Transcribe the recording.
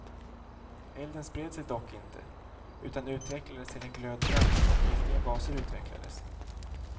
Elden spred sig dock inte utan utvecklades till en glödbrand och giftiga gaser utvecklades.